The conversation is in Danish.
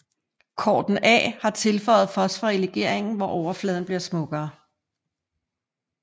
Corten A har tilføjet fosfor i legeringen hvor overfladen bliver smukkere